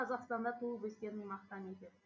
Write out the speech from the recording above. ол қазақстанда туып өскенін мақтан етеді